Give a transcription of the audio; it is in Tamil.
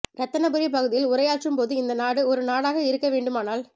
இரத்தினபுரி பகுதியில் உரையாற்று ம்போது இந்த நாடு ஒரு நாடாக இருக்கவேண்டுமானால்